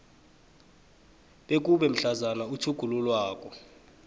bekube mhlazana utjhugululwako